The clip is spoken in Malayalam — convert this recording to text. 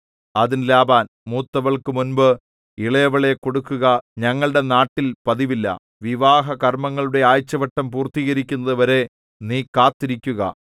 അതിന് ലാബാൻ മൂത്തവൾക്കു മുമ്പ് ഇളയവളെ കൊടുക്കുക ഞങ്ങളുടെ നാട്ടിൽ പതിവില്ല വിവാഹ കർമ്മങ്ങളുടെ ആഴ്ചവട്ടം പൂർത്തീകരിക്കുന്നതു വരെ നീ കാത്തിരിക്കുക